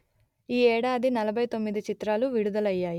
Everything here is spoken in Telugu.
ఈ యేడాది నలభై తొమ్మిది చిత్రాలు విడుదలయ్యాయి